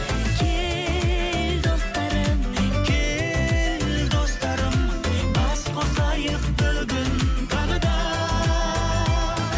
кел достарым кел достарым бас қосайық бүгін тағы да